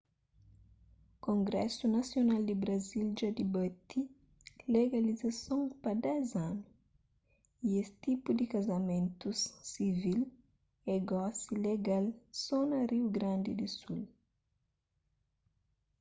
kongrésu nasional di brazil dja dibati legalizason pa 10 anu y es tipu di kazamentus sivil é gosi legal so na riu grandi di sul